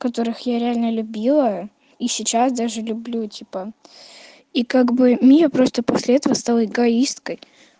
которых я реально любила и сейчас даже люблю типа и как бы мия просто после этого стала эгоисткой